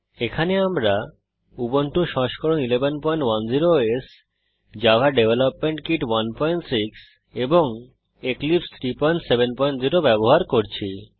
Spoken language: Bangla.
এখানে আমরা উবুন্টু সংস্করণ 1110 ওএস জাভা ডেভেলপমেন্ট কিট 16 এবং এক্লিপসে 370 ব্যবহার করছি